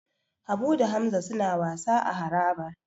Habu da Hamza suna wasa a harabar.